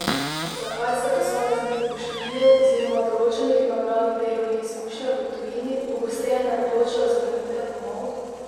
Zakaj se posamezniki po študiju oziroma določenih nabranih delovnih izkušnjah v tujini pogosteje ne odločajo za vrnitev domov?